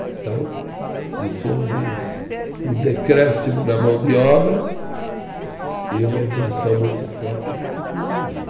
Então, isso houve um decréscimo na mão de obra e uma evolução muito forte de tecnologia.